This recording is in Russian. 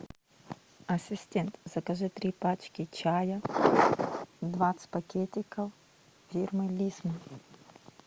ассистент закажи три пачки чая двадцать пакетиков фирмы лисма